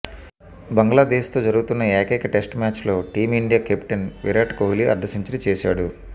బంగ్లాదేశ్తో జరుగుతున్న ఏకైక టెస్టు మ్యాచ్లో టీమిండియా కెప్టెన్ విరాట్ కోహ్లీ అర్ధసెంచరీ చేశాడు